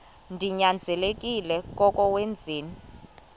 ninyanzelekile koko wenzeni